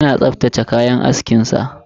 Yana tsaftace kayan askin sa.